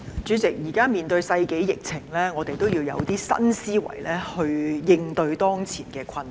主席，現時面對世紀疫情，我們要有新思維來應對當前的困難。